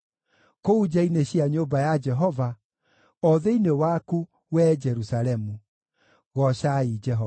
kũu nja-inĩ cia nyũmba ya Jehova, o thĩinĩ waku, wee Jerusalemu. Goocai Jehova.